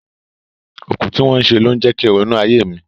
Òkú tí wọ́n ṣe ló ń jẹ kín ronú ayé mi.